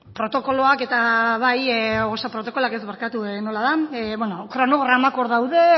kronogramak hor daude